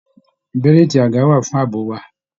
Bẹ̀liiti aga wa fún ààbò wà.